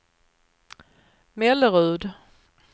Mellerud